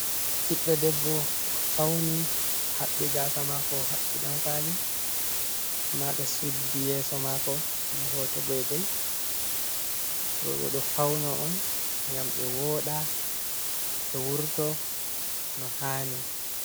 Ɓiɗdo debbo o fauni, o haɓɓi gaasa mako, o haɓɓi ɗankwaali, amma ɓe suddi yeso mako be hoto goi-goi. Rowɓe ɗo fauno on, ngam ɓe woɗa, ɓe wurto no handi.